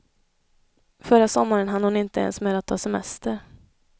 Förra sommaren hann hon inte ens med att ta semester.